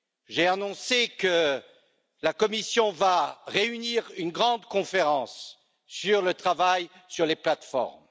J'ai annoncé que la Commission allait réunir une grande conférence sur le travail sur les plateformes.